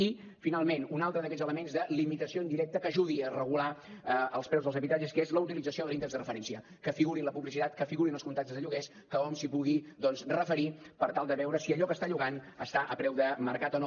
i finalment un altre d’aquests elements de limitació indirecta que ajudi a regular els preus dels habitatges que és la utilització de l’índex de referència que figuri en la publicitat que figuri en els contractes de lloguer que hom s’hi pugui doncs referir per tal de veure si allò que està llogant està a preu de mercat o no